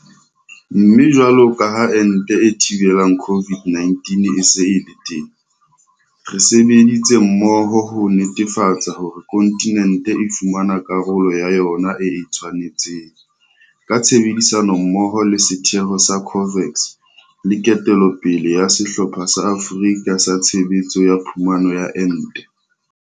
Mme jwalo ka ha ente e thibelang COVID-19 e se e le teng, re sebeditse mmoho ho netefatsa hore kontinente e fumana karolo ya yona e e tshwanetseng, ka tshebedisano mmoho le setheo sa COVAX le ketello pele ya Sehlopha sa Afrika sa Tshebetso ya Phumano ya Ente.